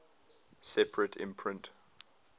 separate imprint